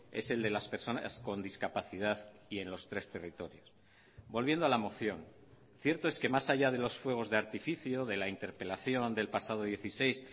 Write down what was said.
es el de las personas con discapacidad y en los tres territorios volviendo a la moción cierto es que más allá de los fuegos de artificio de la interpelación del pasado dieciséis